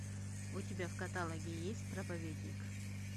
у тебя в каталоге есть проповедник